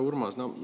Hea Urmas!